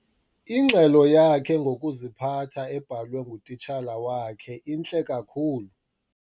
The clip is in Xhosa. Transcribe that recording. Ingxelo yakhe ngokuziphatha ebhalwe ngutitshala wakhe intle kakhulu.